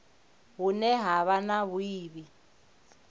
hune ha vha na vhuiivhi